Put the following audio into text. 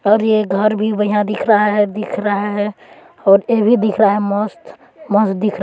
और ये घर भी बढ़िया दिख रहा है दिख रहा है और ये भी दिख रहा मस्त मस्त दिख रहा--